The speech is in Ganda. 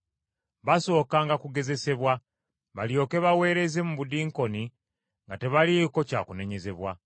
Basookanga kugezesebwa balyoke baweereze mu budiikooni nga tebaliiko kya kunenyezebwa.